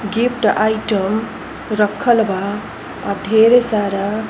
Gift item रखल बा। आ ढ़ेरे सारा --